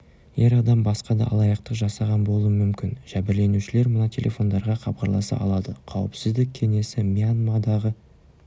ер адам басқа да алаяқтық жасаған болуы мүмкін жәбірленушілер мына телефондарға хабарласа алады қауіпсіздік кеңесі мьянмадағы